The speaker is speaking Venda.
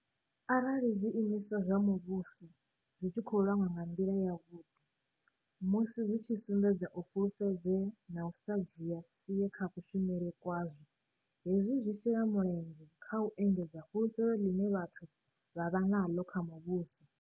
Arali zwiimiswa zwa muvhuso zwi tshi khou langwa nga nḓila yavhuḓi, musi zwi tshi sumbedza u fulufhedzea na u sa dzhia sia kha kushumele kwazwo, hezwi zwi shela mulenzhe kha u engedza fulufhelo ḽine vhathu vha vha naḽo kha muvhuso.